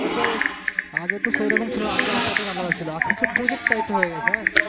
আগে তো, আগে তো সেইরকম ছিল না আগে আলাদা ছিল এখন সব project typer হয়ে গেছে হ্যাঁ,